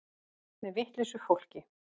Með vitlausu fólki.